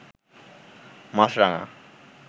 মাছরাঙা